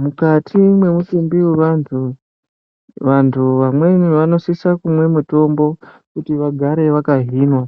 Mukati mwemitumbi yevantu, vantu vamweni vanosisa kumwe mitombo kuti vagare vakahinwa